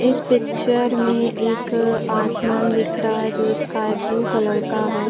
इस पिक्चर में एक आसमान दिख रहा हैं जो स्काई ब्लू कलर का है।